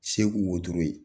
Segu wotoro ye